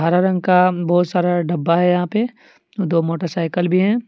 हरा रंग का बहुत सारा डब्बा है यहां पे दो मोटरसाइकल भी हैं।